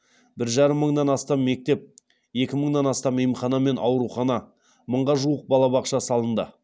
бір жарым мыңнан астам мектеп екі мыңнан астам емхана мен аурухана мыңға жуық балабақша салынды